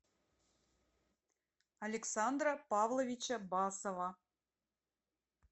александра павловича басова